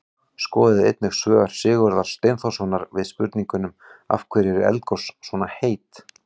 Skoðið einnig svör Sigurðar Steinþórssonar við spurningunum: Af hverju eru eldgos svona heit?